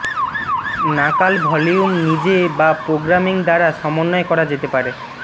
নাকাল ভলিউম নিজে বা প্রোগ্রামিং দ্বারা সমন্বয় করা যেতে পারে